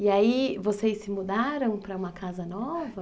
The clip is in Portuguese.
E aí vocês se mudaram para uma casa nova?